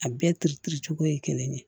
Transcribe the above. A bɛɛ cogo ye kelen ye